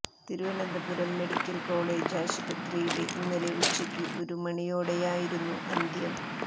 Thiruvananthapuram medical college ആശുപത്രിയില് ഇന്നലെ ഉച്ചക്ക് ഒരു മണിയോടെയായിരുന്നു അന്ത്യം